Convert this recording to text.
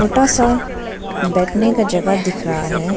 छोटा सा बैठने का जगह दिख रहा है।